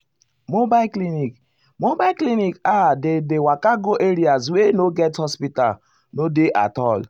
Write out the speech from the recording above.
mobile clinic mobile clinic ah dem dey waka go areas wey no get hospital no dey at all.